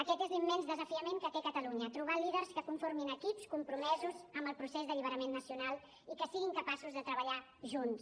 aquest és l’immens desafiament que té catalunya trobar líders que conformin equips compromesos amb el procés d’alliberament nacional i que siguin capaços de treballar junts